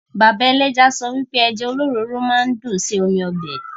Bàbá ẹlẹ́ja sọ wipe Ẹja olóròóró máa ń dùn ṣe omi ọbẹ̀